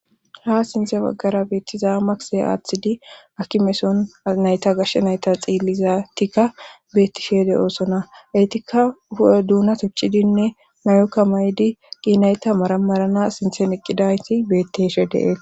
ha sinthe baggara beettiza makse aaththidi aki meson nayta gashshe nayta xiillizatikka beettishe de oosona eytikka hu7e duuna tucidinne mayokka maydi qiinayta maramarana sinthen iqqidayti betteshe dee'